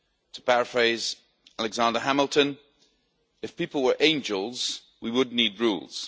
To paraphrase Alexander Hamilton, if people were angels, we would not need rules.